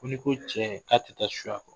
Ko n'i ko cɛ k'a tɛ taa suya